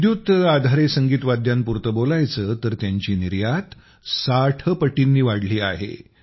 विद्युत आधारे सगीत वाद्यांपुरते बोलायचं तर त्यांची निर्यात ६० पटींनी वाढली आहे